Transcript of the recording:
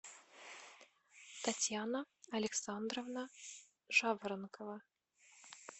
татьяна александровна жаворонкова